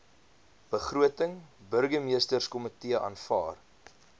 begroting burgemeesterskomitee aanvaar